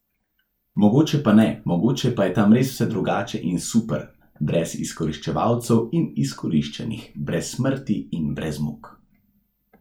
Mogoče pa ne, mogoče pa je tam res vse drugače in super, brez izkoriščevalcev in izkoriščanih, brez smrti in brez muk.